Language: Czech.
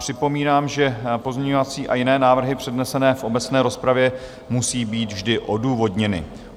Připomínám, že pozměňovací a jiné návrhy přednesené v obecné rozpravě musí být vždy odůvodněny.